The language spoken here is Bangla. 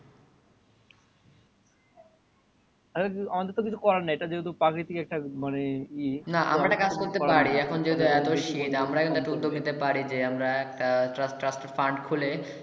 আমাদের তো কিছু করার নাই ইটা যেহতো প্রাকিতিক একটা মানে ই না আমরা একটা কাজ করতে পারি এখন যেহতো এত শীত আমরা একটা উদ্যোগ নিতে পারি যে আমরা একটা trusted fund খোলে